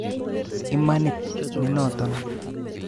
Imanit nenoton